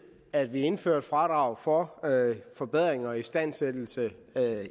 at vi indfører et fradrag for forbedringer og istandsættelse